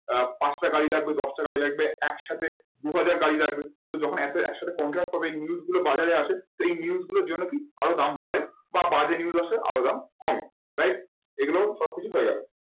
আহ পাঁচটা গাড়ি লাগবে দশটা গাড়ি লাগবে একসাথে দুহাজার গাড়ি লাগবে। তো যখন একসাথে contract করবে এই news গুলো বাজারে আসে তো এই news গুলোর জন্য কি আরো দাম বাড়ে বা বাজে news আসে আরো দাম কমে right এগুলো সবকিছু হয়ে গেলো।